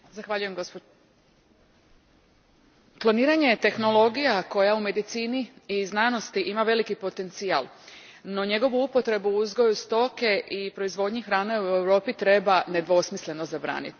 Gospođo predsjednice, kloniranje je tehnologija koja u medicini i znanosti ima veliki potencijal, no njegovu upotrebu u uzgoju stoke i proizvodnji hrane u Europi treba nedvosmisleno zabraniti.